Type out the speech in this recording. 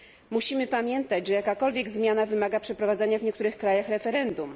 Musimy pamiętać, że jakakolwiek zmiana wymaga przeprowadzania w niektórych krajach referendum.